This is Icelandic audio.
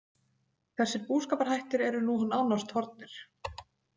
Þessir búskaparhættir eru nú nánast horfnir.